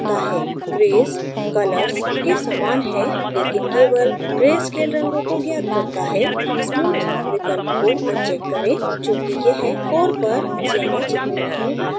grays colors के समान है लेकिन केवल grayscale रंगों को ज्ञात करता है smooth विकल्प को अनचेक करें चूँकि यह कोर पर ज़्यादा चिकनी लाइनें बनाता है